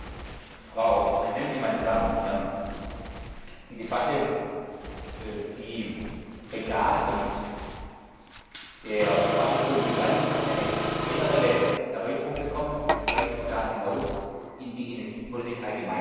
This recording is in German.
Frau Präsidentin, meine Damen und Herren! Die Debatte, die bei Gas und der Speicherung begann, hat eine generelle Erweiterung bekommen, weit über Gas hinaus in die Energiepolitik allgemein.